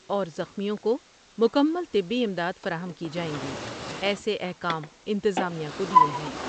اور زخمیوں کو مکمل طبی امدادفراہم کی جائیں گی ایسے احکام انتظامیہ کو دیئے ہیں ۔